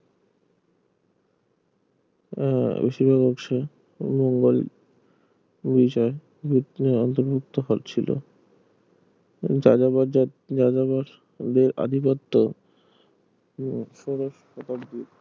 আহ বেশিরভাগ অংশে মোঙ্গল বিজয় ভিতরে অন্তর্ভুক্ত হচ্ছিল যাযাবর যা যাযাবর দের আধিপত্য দিয়ে